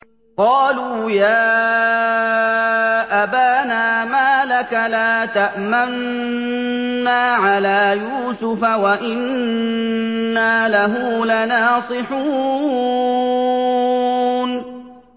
قَالُوا يَا أَبَانَا مَا لَكَ لَا تَأْمَنَّا عَلَىٰ يُوسُفَ وَإِنَّا لَهُ لَنَاصِحُونَ